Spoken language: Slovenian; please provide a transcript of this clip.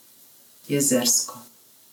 Jezersko.